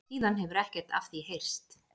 Síðan hefur ekkert af því heyrst